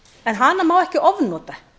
en hana má ekki ofnota